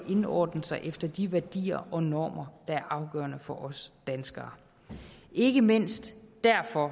indordne sig efter de værdier og normer der er afgørende for os danskere ikke mindst derfor